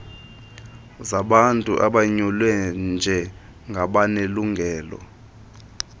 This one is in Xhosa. zabantu abonyulwe njengabanelungelo